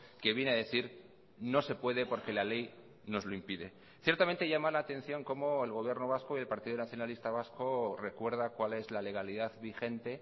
que viene a decir no se puede porque la ley nos lo impide ciertamente llama la atención cómo el gobierno vasco y el partido nacionalista vasco recuerda cuál es la legalidad vigente